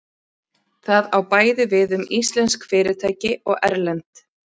Það á bæði við um íslensk fyrirtæki og erlend.